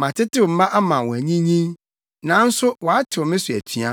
“Matetew mma ama wɔanyinyin, nanso wɔatew me so atua.